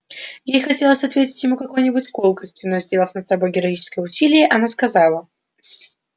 ей хотелось ответить ему какой-нибудь колкостью но сделав над собой героическое усилие она сказала